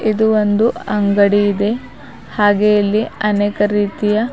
ಇದು ಒಂದು ಅಂಗಡಿ ಇದೆ ಹಾಗೆ ಇಲ್ಲಿ ಅನೇಕ ರೀತಿಯ --